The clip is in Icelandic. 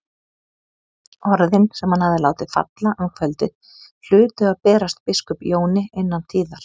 Orðin sem hann hafði látið falla um kvöldið hlutu að berast biskup Jóni innan tíðar.